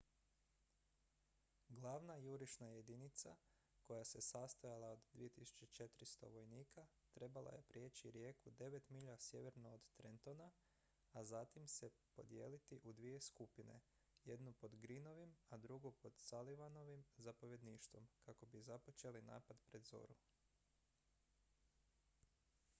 glavna jurišna jedinica koja se sastojala od 2400 vojnika trebala je prijeći rijeku devet milja sjeverno od trentona a zatim se podijeliti u dvije skupine jednu pod greenovim a drugu pod sullivanovim zapovjedništvom kako bi započeli napad pred zoru